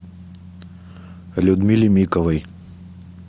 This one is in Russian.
людмиле миковой